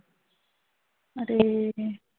আরে